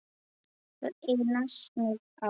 Það eina sem ég á.